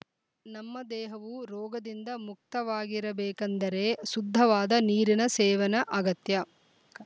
ನಮ್ಮ ದೇಹವು ರೋಗದಿಂದ ಮುಕ್ತವಾಗಿರಬೇಕಂದರೆ ಶುದ್ಧವಾದ ನೀರಿನ ಸೇವನ ಅಗತ್ಯ